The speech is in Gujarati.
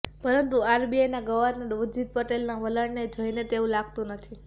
પરંતુ આરબીઆઈના ગવર્નર ઉર્જિત પટેલના વલણને જોઇને તેવું લાગતું નથી